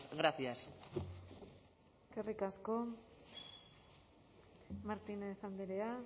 gracias eskerrik asko martínez andrea